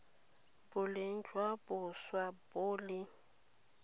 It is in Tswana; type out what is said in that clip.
boleng jwa boswa bo le